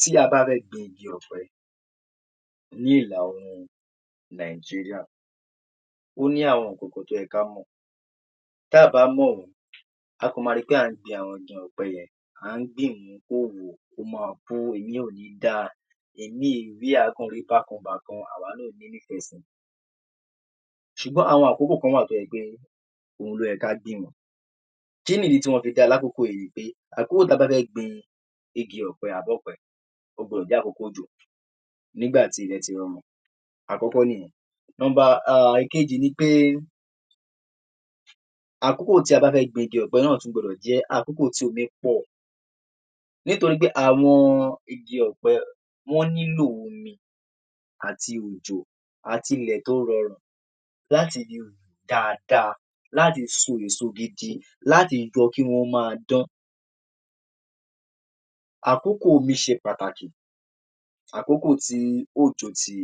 Tí a bá fẹ́ gbin igi ọ̀pẹ ní ilà oòrùn Nàìjíríà, ó ní àwọn nǹkankan tó yẹ ká mọ̀ tá à bá mọ̀ wọ́n, a kàn ma ri pé à ń gbin àwọn igi ọ̀pẹ yẹn à ń gbin ìmíì ò ní dáa, ìmíì ewé ẹ̀ á rí bákan bàkan a ò ní nífẹ̀ẹ́ si ṣùgbọ́n àwọn àkókò kan wà tó jẹ́ pé òun ló yẹ ká gbìn wọ́n. Kí ni ìdí tí wọ́n fi dáa lákòókò yìí ni pé àkókò ta bá fẹ́ gbin igi ọ̀pẹ àbí ọ̀pẹ ó gbudọ̀ jẹ́ àkókò òjò nígbà tí ilẹ̀ ti rin àkọ́kọ́ nìyẹn. number um èkejì ni pé àkókò tí a bá fẹ́ gbin igi ọ̀pẹ náà gbudọ̀ jẹ́ àkókò tí omi pọ̀ nítorí pé àwọn igi ọ̀pẹ wọ́n nílò omi àti òjò, àti ilẹ̀ tó rọrùn láti lè hù dáadáa, láti so èso gidi, láti jẹ́ kí wọ́n máa dán. Àkókò omi ṣe pàtàkì, àkókò tí òjò ti